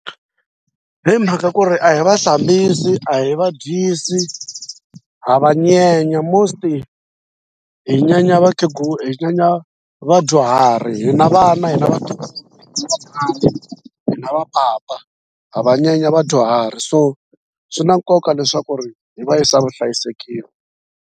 Hi mhaka ku ri a hi va hlambisi a hi va dyisi ha va nyenya most hi nyenye vakhegula hi nyenye vadyuhari hina vana hina vatukulu hina va papa ha va nyenya vadyuhari so swi na nkoka leswaku ri hi va yisa vuhlayisekeni.